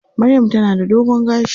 Maryam ta na da dogon gashi.